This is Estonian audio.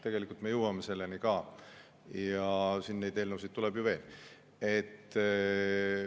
Tegelikult me jõuame selleni ka – eelnõusid tuleb ju veel.